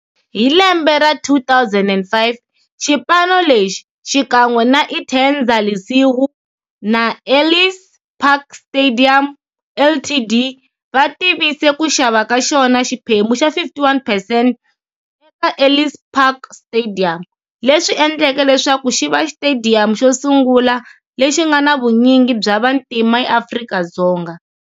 Hi lembe ra 2005, xipano lexi, xikan'we na Interza Lesego na Ellis Park Stadium Ltd, va tivise ku xava ka xona xiphemu xa 51 percent eka Ellis Park Stadium, leswi endleke leswaku xiva xitediyamu xosungula lexi nga na vunyingi bya vantima eAfrika-Dzonga.